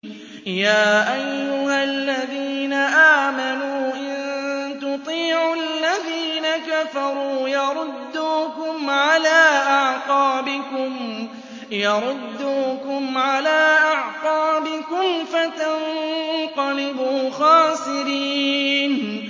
يَا أَيُّهَا الَّذِينَ آمَنُوا إِن تُطِيعُوا الَّذِينَ كَفَرُوا يَرُدُّوكُمْ عَلَىٰ أَعْقَابِكُمْ فَتَنقَلِبُوا خَاسِرِينَ